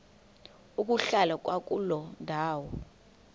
ukuhlala kwakuloo ndawo